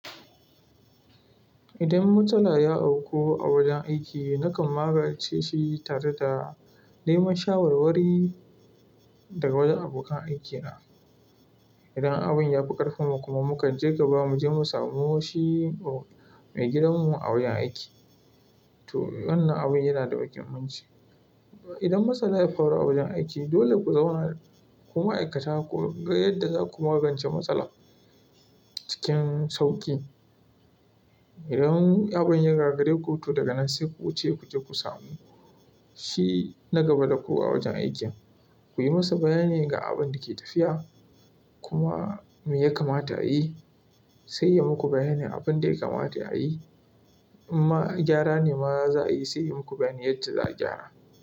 Idan matsala ya auku a wajen aiki, nakan magance shi tare da neman shawarwari daga wajen abokan aikina. Idan abin ya fi ƙarfin mu kuma, mukan je gaba mu je mu samu shi mai gidanmu a wajen aiki, to wannan abin yana da muhummanci. Idan matsala ya faru a wajen aiki, dole ku zauna ku ma'aikata ku ga yadda za ku magance matsala cikin sauƙi. Idan abin ya gagare ku, to daga nan sai ku wuce ku je ku samu shi na gaba da ku a wajen aikin. Ku yi masa bayani ga abin da ke tafiya kuma me ya kamata a yi, sai ya muku bayanin abin da ya kamata a yi. In ma gyara ne ma za a yi, sai ya muku bayanin yacce za a gyara.